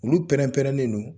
Olu pɛrɛn pɛrɛnnen don